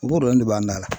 O b'o dɔrɔn de b'an dala